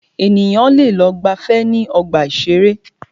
Ènìyàn lẹ lọ gbàfẹ́ ní ọgbà ìṣẹ̀rẹ́.